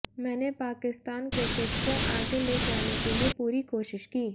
मैंने पाकिस्तान क्रिकेट को आगे ले जाने के लिए पूरी कोशिश की